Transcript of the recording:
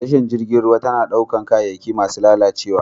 Tashar jirgin ruwa tana ɗaukar kayayyaki masu lalacewa.